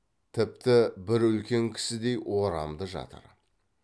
тіпті бір үлкен кісідей орамды жатыр